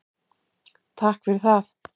Takk fyrir það.